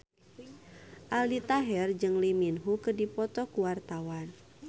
Aldi Taher jeung Lee Min Ho keur dipoto ku wartawan